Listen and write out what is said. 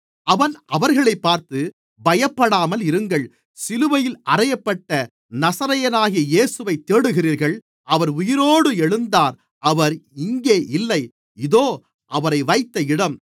அவன் அவர்களைப் பார்த்து பயப்படாமல் இருங்கள் சிலுவையில் அறையப்பட்ட நசரேயனாகிய இயேசுவைத் தேடுகிறீர்கள் அவர் உயிரோடு எழுந்தார் அவர் இங்கே இல்லை இதோ அவரை வைத்த இடம்